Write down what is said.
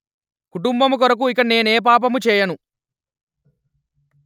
కుటుంబము కొరకు ఇక నేనా పాపము చేయను